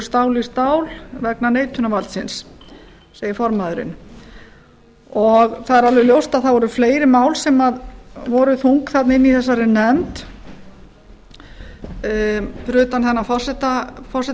stál í stál vegna neitunarvaldsins segir formaðurinn það er alveg ljóst að það voru fleiri mál sem voru þung inni í þessari nefnd fyrir utan hennar